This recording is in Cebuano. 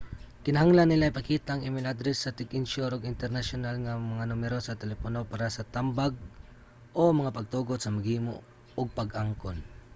kinahanglan nila ipakita ang email address sa tig-insyur ug ang internasyonal nga mga numero sa telepono para sa tambag/mga pagtugot sa maghimo ug pag-angkon